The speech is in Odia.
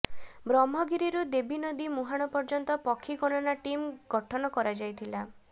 ବ୍ରହ୍ମଗିରିରୁ ଦେବୀ ନଦୀ ମୁର୍ହାଣ ପର୍ଯ୍ୟନ୍ତ ପକ୍ଷୀ ଗଣନା ଟିମ୍ ଗଠନ କରାଯାଇଥିଲା